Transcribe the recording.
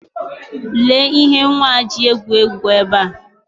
Lee ihe nwa ji egwu egwu ebe a.